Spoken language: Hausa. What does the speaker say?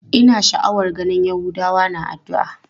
Ina sha'awar ganin yahudawa na addu'a.